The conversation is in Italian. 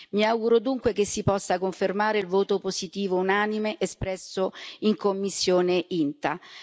Mi auguro dunque che si possa confermare il voto positivo unanime espresso in commissione INTA.